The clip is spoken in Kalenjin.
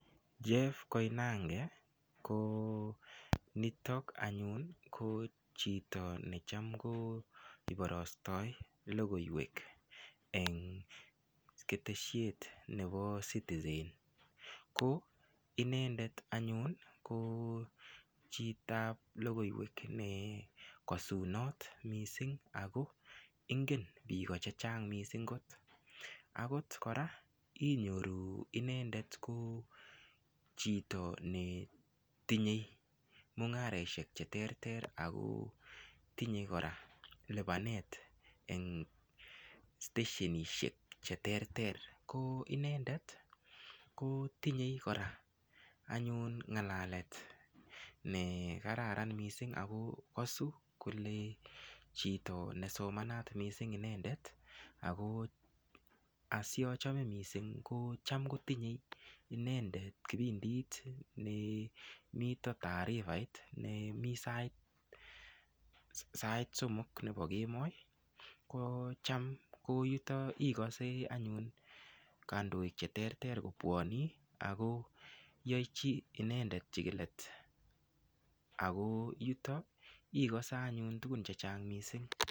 Jeff koinange ko nitok anyun ko chito anyun cham ko iporostoy logoiwek eng ketesiet nepo Citizen ko inendet anyun ko chito ab logoiwek ne kasunot mising' ako ingen piko chechang' mising' kot, akot koraa inyoru inendet ko chito netinyei mung'aroshek cheterter ako tinyei koraa lipanet eng stationishek cheterter, ko inendet kotinyei koraa anyun ng'alalet nekararan mising' ako kasu kole chito nesomanat mising inendet ako asiachame mising' ko cham kotinyei inendet kipindit nemito taarifait nemii sait somok nepo kemboi kocham ko yutok ikase anyun kandoik cheterter kopwanii akoyachi inendet chikilet ako yutok ikase anyun tuguk chechang' mising'.